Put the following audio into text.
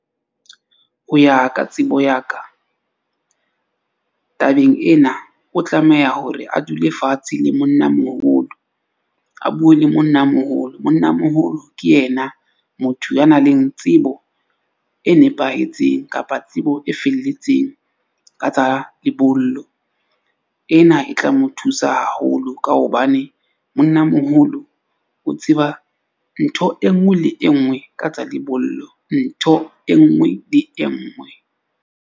Ho ya ka tsebo ya ka tabeng ena, o tlameha hore a dule fatshe le monna moholo, a bue le monna moholo. Monna moholo ke yena motho ya nang le tsebo e nepahetseng kapa tsebo e felletseng ka tsa lebollo. Ena e tla mo thusa haholo ka hobane monnamoholo o tseba ntho e nngwe le e nngwe ka tsa lebollo, ntho e nngwe le e nngwe.